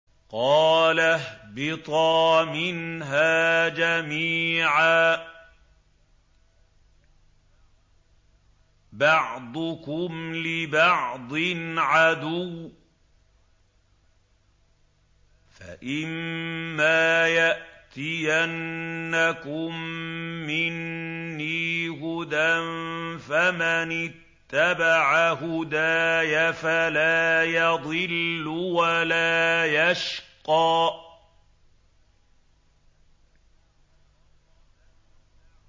قَالَ اهْبِطَا مِنْهَا جَمِيعًا ۖ بَعْضُكُمْ لِبَعْضٍ عَدُوٌّ ۖ فَإِمَّا يَأْتِيَنَّكُم مِّنِّي هُدًى فَمَنِ اتَّبَعَ هُدَايَ فَلَا يَضِلُّ وَلَا يَشْقَىٰ